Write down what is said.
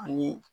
Ani